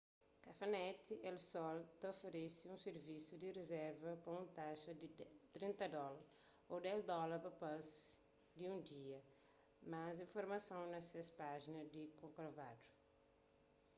cafenet el sol ta oferese un sirvisu di rizerva pa un taxa di 30 dóla ô 10 dóla pa pasi di un dia más informason na ses pájina di corcovado